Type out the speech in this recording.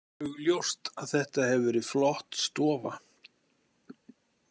Augljóst að þetta hefur verið flott stofa.